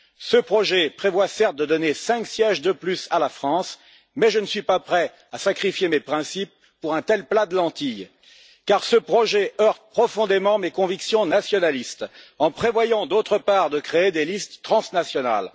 Ce projet prévoit, certes, de donner 5 sièges de plus à la France, mais je ne suis pas prêt à sacrifier mes principes pour un tel plat de lentilles, car ce projet heurte profondément mes convictions nationalistes en prévoyant, d'autre part, de créer des listes transnationales.